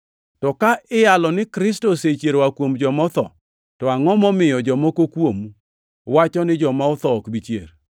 To ka iyalo ni Kristo osechier oa kuom joma otho, to angʼo momiyo jomoko kuomu wacho ni joma otho ok bi chier?